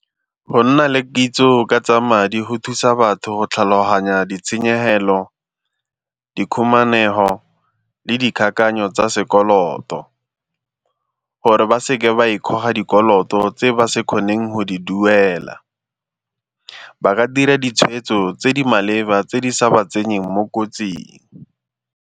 Go nna le kitso ka tsa madi go thusa batho tlhaloganya ditshenyegelo, dikhumanego le dikakanyo tsa sekoloto gore ba seke ba e goga dikoloto tse ba se kgoneng go di duela. Ba ka dira ditshwetso tse di maleba tse di sa ba tsenyeng mo kotsing.